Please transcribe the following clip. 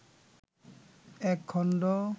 এক খন্ড